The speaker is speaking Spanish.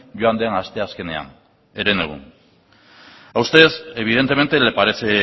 joan den asteazkenean herenegun a usted evidentemente le parece